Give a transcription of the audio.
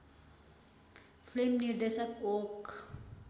film निर्देशक okay